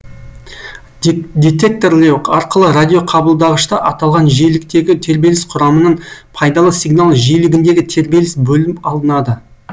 детекторлеу арқылы радиоқабылдағышта аталған жиіліктегі тербеліс құрамынан пайдалы сигнал жиілігіндегі тербеліс бөлініп алынады